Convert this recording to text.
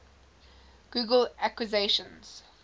google acquisitions